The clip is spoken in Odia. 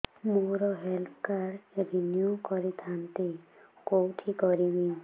ମୋର ହେଲ୍ଥ କାର୍ଡ ରିନିଓ କରିଥାନ୍ତି କୋଉଠି କରିବି